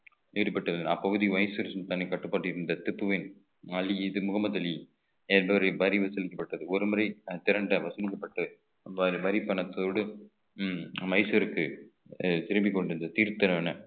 ஈடுபட்டது அப்பகுதி vice station தனி கட்டுப்பாட்டில் இருந்த திப்புவின் அலி முகமது அலி என்பவரை வரி வசூலிக்கப்பட்டது ஒருமுறை திரண்டு வசூலிக்கப்பட்டு வ~ வரிப்பணத்தோடு உம் மைசூருக்கு திரும்பிக் கொண்டிருந்த